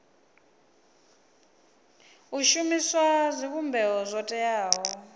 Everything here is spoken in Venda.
u shumisa zwivhumbeo zwo teaho